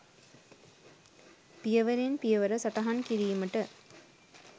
පියවරෙන් පියවර සටහන් කිරීමට